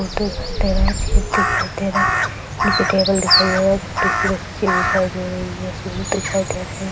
छेद दिखाई दे रहा है नीचे टेबल दिख रही है छोटी सी बच्ची दिखाई दे रही है दिखाई दे रहे है।